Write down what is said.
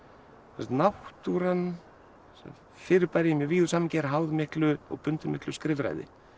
náttúran sem fyrirbæri í mjög víðu samhengi er háð miklu og bundin miklu skrifræði